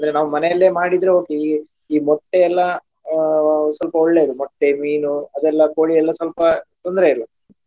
ಅಂದ್ರೆ ನಾವು ಮನೆಯಲ್ಲಿಯೇ ಮಾಡಿದ್ರೆ okay ಈ ಈ ಮೊಟ್ಟೆ ಎಲ್ಲಾ ಅಹ್ ಸ್ವಲ್ಪ ಒಳ್ಳೆಯದು ಮೊಟ್ಟೆ, ಮೀನು ಅದೆಲ್ಲ ಕೋಳಿ ಎಲ್ಲಾ ಸ್ವಲ್ಪ ತೊಂದ್ರೆ ಇಲ್ಲ.